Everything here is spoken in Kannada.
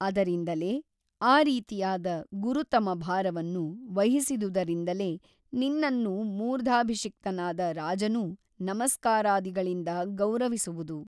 ಅದರಿಂದಲೇ ಆ ರೀತಿಯಾದ ಗುರುತಮ ಭಾರವನ್ನು ವಹಿಸಿದುದರಿಂದಲೇ ನಿನ್ನನ್ನು ಮೂರ್ಧಾಭಿಷಿಕ್ತನಾದ ರಾಜನೂ ನಮಸ್ಕಾರಾದಿಗಳಿಂದ ಗೌರವಿಸುವುದು.